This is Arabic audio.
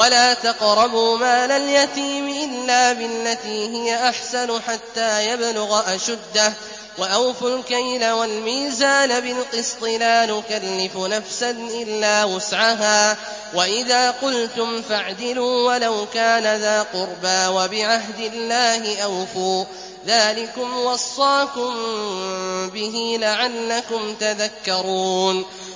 وَلَا تَقْرَبُوا مَالَ الْيَتِيمِ إِلَّا بِالَّتِي هِيَ أَحْسَنُ حَتَّىٰ يَبْلُغَ أَشُدَّهُ ۖ وَأَوْفُوا الْكَيْلَ وَالْمِيزَانَ بِالْقِسْطِ ۖ لَا نُكَلِّفُ نَفْسًا إِلَّا وُسْعَهَا ۖ وَإِذَا قُلْتُمْ فَاعْدِلُوا وَلَوْ كَانَ ذَا قُرْبَىٰ ۖ وَبِعَهْدِ اللَّهِ أَوْفُوا ۚ ذَٰلِكُمْ وَصَّاكُم بِهِ لَعَلَّكُمْ تَذَكَّرُونَ